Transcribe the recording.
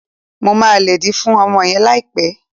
Mo máa lédìí fún ọmọ yẹn láìpẹ́